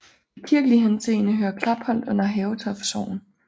I kirkelig henseende hører Klapholt under Havetoft Sogn